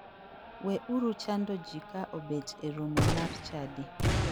We uru chando ji ka obet e romo mar chadi.